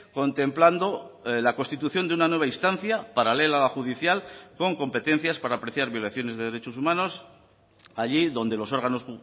contemplando la constitución de una nueva instancia paralela a la judicial con competencias para apreciar violaciones de derechos humanos allí donde los órganos